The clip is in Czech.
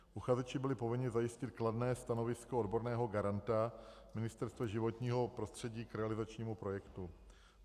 Uchazeči byli povinni zajistit kladné stanovisko odborného garanta, Ministerstva životního prostředí, k realizačnímu projektu.